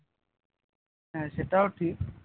হ্যাঁ সেটাও ঠিক